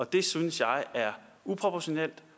det synes jeg er uproportionelt